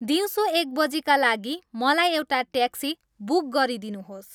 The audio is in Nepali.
दिउँसो एकबजीका लागि मलाई एउटा ट्याक्सी बुक गरिदिनुहोस्